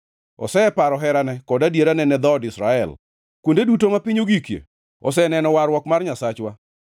Oseparo herane kod adierane ne dhood Israel; kuonde duto ma piny ogikie oseneno warruok mar Nyasachwa.